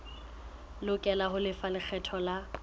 lokela ho lefa lekgetho la